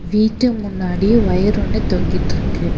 வீட்டு முன்னாடி ஒயர் ஒன்னு தொங்கிட்ருக்கு.